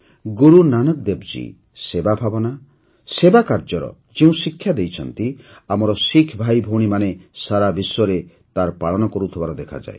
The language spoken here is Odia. ଗୁରୁନାନକ ଦେବଜୀ ସେବା ଭାବନା ସେବା କାର୍ଯ୍ୟର ଯେଉଁ ଶିକ୍ଷା ଦେଇଛନ୍ତି ଆମର ଶିଖ୍ ଭାଇ ଭଉଣୀମାନେ ସାରା ବିଶ୍ୱରେ ତାର ପାଳନ କରୁଥିବାର ଦେଖାଯାଏ